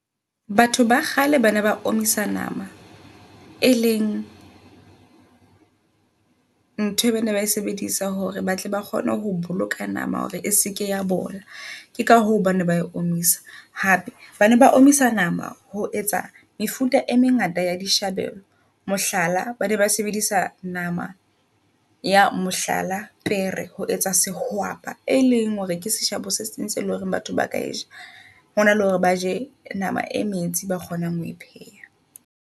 Batho ba kgale bana ba omisa nama, e leng ntho bane bae sebedisa hore ba tle ba kgone ho boloka nama hore e seke ya bola. Ke ka hoo bana ba e omisa. Hape bane ba omisa nama ho etsa mefuta e mengata yaa dishabelo. Mohlala, bane ba sebedisa nama ya mohlala pere ho etsa se e leng hore ke sehwapa e leng hore ke seshabo se seng seo eleng hore batho ba ka seja hona le hore ba je nama e metsi eba kgonang hoe pheha.